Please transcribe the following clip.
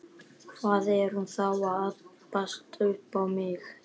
Hvað er hún þá að abbast upp á mig?